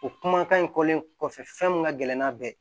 O kumakan in kɔlen kɔfɛ fɛn min ka gɛlɛn n'a bɛɛ